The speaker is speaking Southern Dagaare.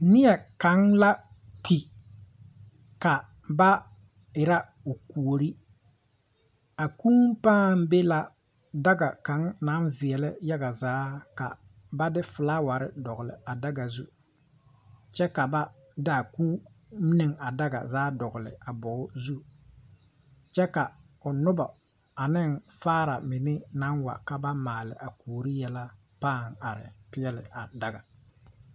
Neɛ kaŋa la kpi ka ba erɛ o kuori a kūū pãã be la daga kaŋ naŋ veɛlɛ yaga zaa ka ba de felaaware dogli a daga zu kyɛ ka ba de a kūū ne a daga zaa a dogli a bogi zu kyɛ ka o nobɔ ane faaramine naŋ wa ka ba maale a kuori yɛlɛ pãã are peɛle a daga.